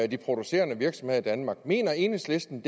de producerende virksomheder i danmark mener enhedslisten